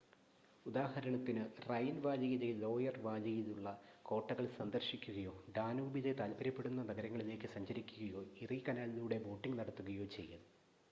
ഉദാഹരണത്തിന് റൈൻ വാലിയിലെ ലോയർ വാലിയിലുള്ള കോട്ടകൾ സന്ദർശിക്കുകയോ ഡാനൂബിലെ താൽപ്പര്യപ്പെടുന്ന നഗരങ്ങളിലേക്ക് സഞ്ചരിക്കുകയോ ഇറി കനാലിലൂടെ ബോട്ടിംഗ് നടത്തുകയോ ചെയ്യൽ